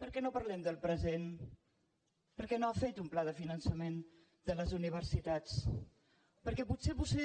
per què no parlem del present per què no ha fet un pla de finançament de les universitats perquè potser vostè